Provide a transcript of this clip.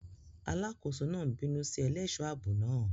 Alákòóso náà ń bínú sí ẹlẹ́ṣọ̀ ààbò náà.